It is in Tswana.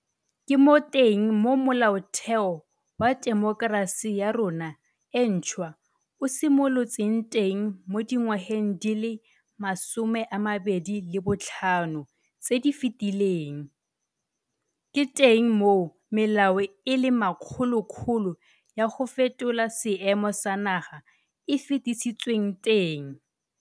Ke mo teng mo Molaotheo wa temokerasi ya rona e ntšhwa o simolotseng teng mo di ngwageng di le 25 tse di fetileng, ke teng moo melao e le makgolokgolo ya go fetola seemo sa naga e fetisitsweng teng.